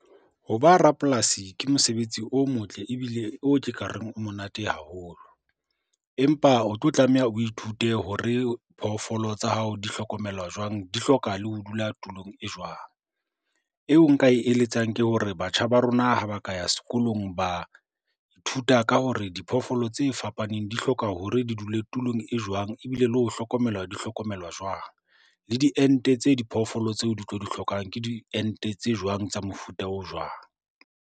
Ho ba rapolasi ke mosebetsi o motle ebile o ke ka reng o monate haholo, empa o tlo tlameha o ithute hore phofolo tsa hao di hlokomelwa jwang? Di hloka le ho dula tulong e jwang? Eo nka e eletsang ke hore batjha ba rona ha ba ka ya sekolong ba ithuta ka hore diphoofolo tse fapaneng di hloka hore di dule tulong e jwang, ebile le ho hlokomelwa di hlokomelwa jwang? Le diente tse diphoofolo tseo di tlo di hlokang ke diente tse jwang tsa mofuta o jwang?